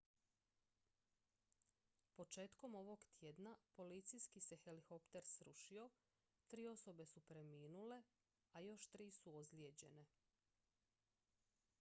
početkom ovog tjedna policijski se helikopter srušio tri osobe su preminule a još tri su ozlijeđene